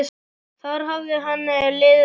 Þar hafði henni liðið vel.